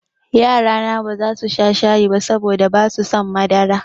Yarana baza su sha shayi ba saboda basu son madara.